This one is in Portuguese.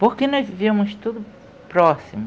Porque nós vivemos tudo próximo.